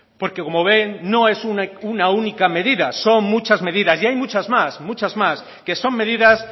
porque como ven no es una única medida son muchas medidas y hay muchas más muchas más que son medidas